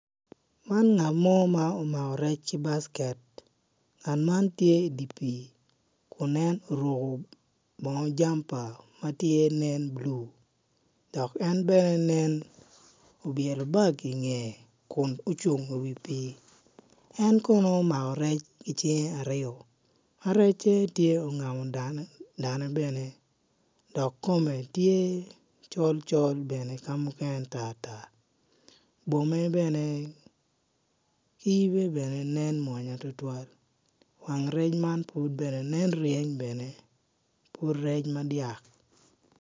Man ngat mo ma omako rec ki baket ngat man tye i dye pii kun en oruko bongo jam pa ma nen tye bulu dok en ben nen obyelo bag i ngeye kun ocung i wiye en kono omako rec i cinge aryo ma recce tye ongamo dane bene dok kome tye col col bene ka muken tartar bwome bene ki yibe bene mwonya tutwal wang rec man nen pud reny bene pud rec madyak.